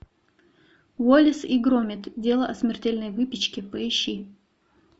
уоллес и громит дело о смертельной выпечке поищи